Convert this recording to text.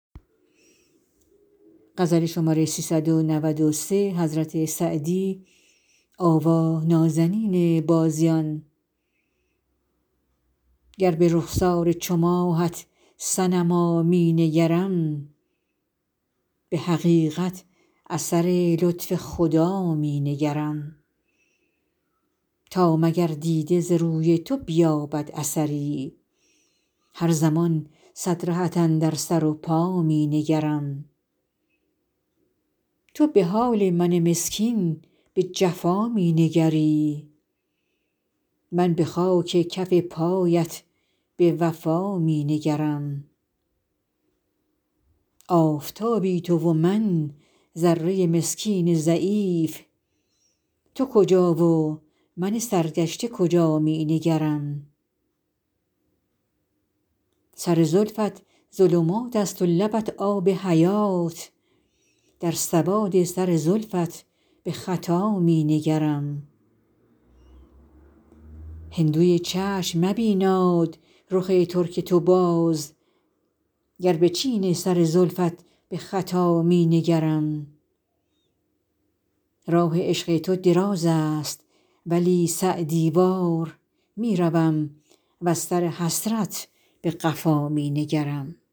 گر به رخسار چو ماهت صنما می نگرم به حقیقت اثر لطف خدا می نگرم تا مگر دیده ز روی تو بیابد اثری هر زمان صد رهت اندر سر و پا می نگرم تو به حال من مسکین به جفا می نگری من به خاک کف پایت به وفا می نگرم آفتابی تو و من ذره مسکین ضعیف تو کجا و من سرگشته کجا می نگرم سر زلفت ظلمات است و لبت آب حیات در سواد سر زلفت به خطا می نگرم هندوی چشم مبیناد رخ ترک تو باز گر به چین سر زلفت به خطا می نگرم راه عشق تو دراز است ولی سعدی وار می روم وز سر حسرت به قفا می نگرم